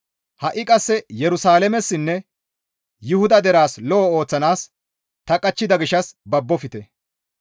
«Ha7i qasse Yerusalaamessinne Yuhuda deraas lo7o ooththanaas ta qachchida gishshas babbofte.